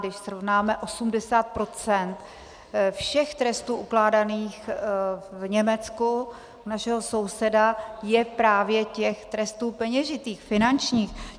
Když srovnáme, 80 % všech trestů ukládaných v Německu, u našeho souseda, je právě těch trestů peněžitých, finančních.